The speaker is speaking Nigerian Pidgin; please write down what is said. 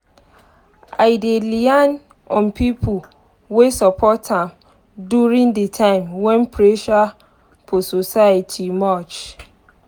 i dey lean on pipo wey support am during de time wen pressure for society much